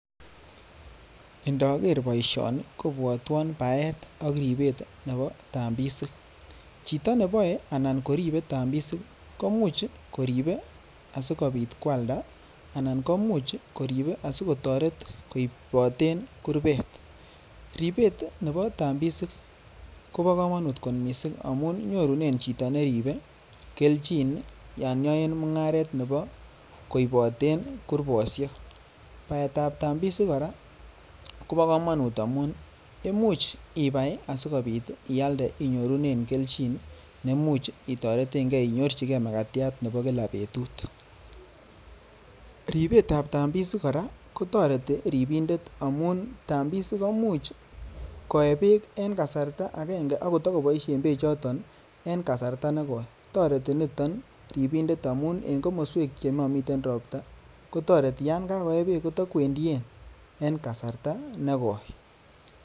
Indoker boishoni kobwotwon Bart ak ribeet nebo tambisik, chito neboe anan koribe tambisik komuch koribe asikobit kwalda anan komuch koribe asikotoret koiboten kurbet, ribeet nebo tambisik kobo komonut kot mising amun nyorunen chito neribe kelchin yoon yoen mung'aret nebo koiboten kurboshek, baetab tambisik kora kobokomonut amun imuch ibai asikobit ialde inyorunen kelchin neimuch itoreteng'e inyorchikee makatiat nebo kilak betut, ribetab tambisik kora kotoreti ribindet kora amun tambisik komuch koee beek en kasarta akeng'e ak kotokoboishen bechoton en kasarta nekoi, toreti niton temindet amun en komoswek chemomiten robta kotoreti yoon kakoe beek kotokwendien en kasarta nekoi.